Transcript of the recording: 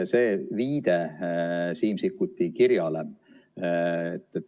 See viide Siim Sikkuti kirjale.